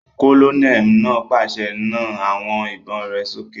Kólóníẹ̀ náà pàṣẹ, "Na àwọn ìbọn rẹ sókè!"